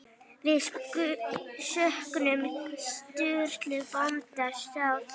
Við söknum Sturlu bónda sárt.